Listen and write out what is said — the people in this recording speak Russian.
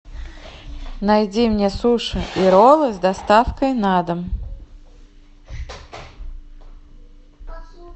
найди мне суши и роллы с доставкой на дом